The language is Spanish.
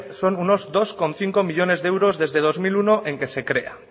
son unos dos coma cinco millónes de euros desde dos mil uno en que se crea